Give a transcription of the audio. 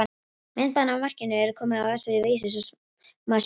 Myndband af markinu er komið á vefsíðu Vísis og má sjá hér.